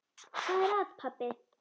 Hvað er að, pabbi?